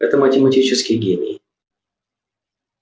это математический гений